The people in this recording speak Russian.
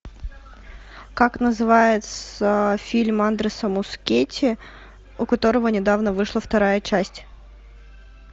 как называется фильм андреса мускетти у которого недавно вышла вторая часть